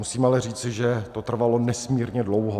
Musím ale říci, že to trvalo nesmírně dlouho.